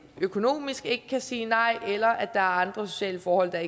økonomisk ikke kan sige nej eller at er andre sociale forhold der